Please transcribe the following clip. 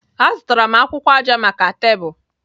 Azụtara m akwụkwọ aja maka tebụl.